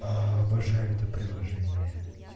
обожаю это приложение